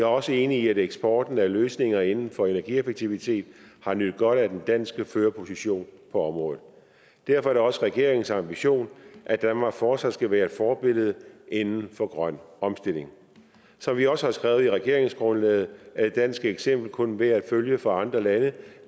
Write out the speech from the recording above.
også enig i at eksporten af løsninger inden for energieffektivitet har nydt godt af den danske førerposition på området derfor er det også regeringens ambition at danmark fortsat skal være et forbillede inden for grøn omstilling som vi også har skrevet i regeringsgrundlaget er et dansk eksempel kun værd at følge for andre lande